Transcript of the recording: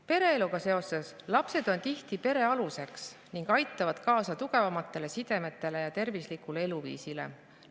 Pereeluga seoses on lapsed tihti pere aluseks ning aitavad kaasa tugevamatele sidemetele ja tervislikule eluviisile.